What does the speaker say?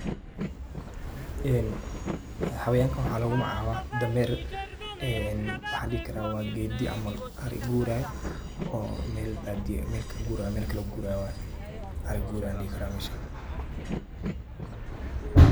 Xawayankan waxaa lugu magacaaba dameer, en waxan dhihi karaa wa geedi camal ari gurayo oo Mel baadiya eh oo Mel kaguraayo melkale uguraayo ,arii guraayo an dhihi karaa meshan